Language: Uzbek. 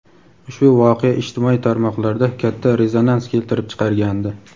ushbu voqea ijtimoiy tarmoqlarda katta rezonans keltirib chiqargandi.